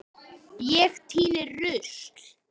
Ég tíni rusl.